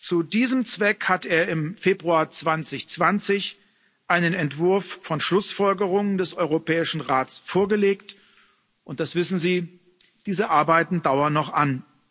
Zu diesem Zweck hat er im Februar 2020 einen Entwurf von Schlussfolgerungen des Europäischen Rates vorgelegt, und das wissen Sie diese Arbeiten dauern noch an.